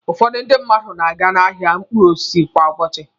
Ụfọdụ ndị mmadu na-aga n'ahịa mkpụrụ osisi kwa ụbọchị.